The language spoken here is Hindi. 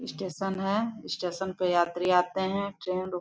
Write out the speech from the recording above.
स्टेशन है स्टेशन पे यात्री आते ट्रैन रुक--